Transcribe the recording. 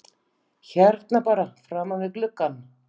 Hérna bara framan við gluggann?